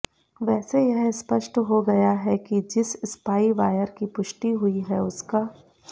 वैसे यह स्पष्ट हो गया है कि जिस स्पाई वायर की पुष्टि हुई है उसका